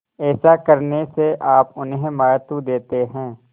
ऐसा करने से आप उन्हें महत्व देते हैं